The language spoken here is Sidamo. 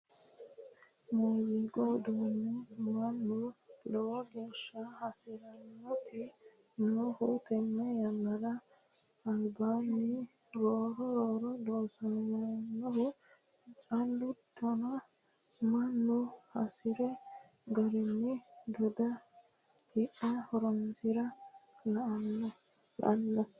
Muziiqu uduune mannu lowo geeshsha hasiraniti noohu tene yannara albihunni roore roore loossamohu callu daana mannu hasiri garini doodhe hidhe horonsirana la'nanni.